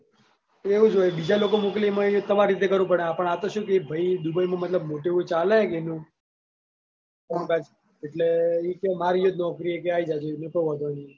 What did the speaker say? એવું જ હોય બીજા લોકો મોકલી એમાં તમારી રીતે કરવું પડે આપણ શું કે એ ભાઈ dubai નું મતલબ મોટું એવું ચાલે છે કે કોમકાજ એટલે એ કે મારા એયે જ નોકરી એ આઈ જજો એનો કોઈ વોધો નઈ.